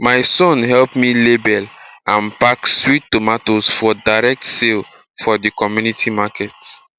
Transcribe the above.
my son help me label and pack sweet potatoes for direct sale for the community market